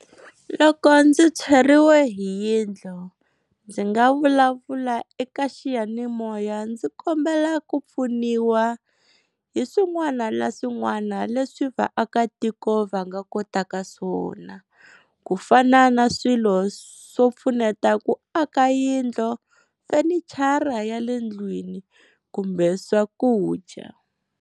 Loko ndzi tshweriwe hi yindlu ndzi nga vulavula eka xiyanimoya ndzi kombela ku pfuniwa hi swin'wana na swin'wana leswi vaakatiko va nga kotaka swona, ku fana na swilo swo pfuneta ku aka yindlu, fenichara ya le ndlwini kumbe swakudya.